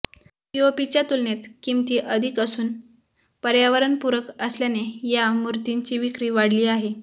पीओपीच्या तुलनेत किंमती अधिक असूनही पर्यावरणपूरक असल्याने या मूर्तींची विक्री वाढली आहे